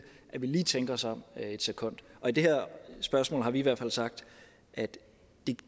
at vi lige tænker os om et sekund og i det her spørgsmål har vi i hvert fald sagt at